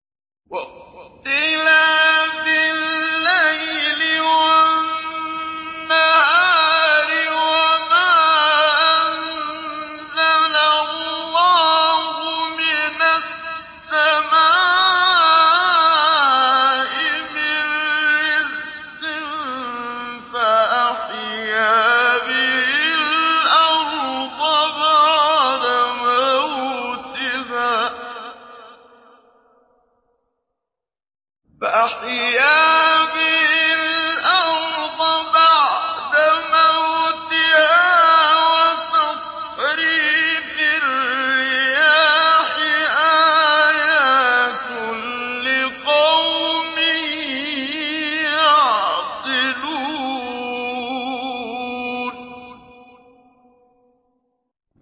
وَاخْتِلَافِ اللَّيْلِ وَالنَّهَارِ وَمَا أَنزَلَ اللَّهُ مِنَ السَّمَاءِ مِن رِّزْقٍ فَأَحْيَا بِهِ الْأَرْضَ بَعْدَ مَوْتِهَا وَتَصْرِيفِ الرِّيَاحِ آيَاتٌ لِّقَوْمٍ يَعْقِلُونَ